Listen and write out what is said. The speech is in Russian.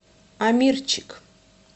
амирчик